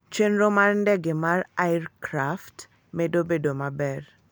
Chenro mar ndege mar Ircraft medo bedo maber.